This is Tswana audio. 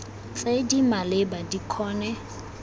tse di maleba di kgone